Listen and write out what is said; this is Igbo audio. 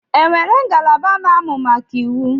E nwere ngalaba na-amụ maka iwu?